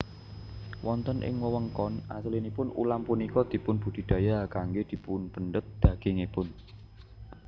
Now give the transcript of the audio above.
Wonten ing wewengkon aslinipun ulam punika dipun budidaya kanggé dipunpendhet dagingipun